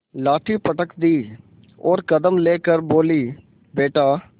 लाठी पटक दी और दम ले कर बोलीबेटा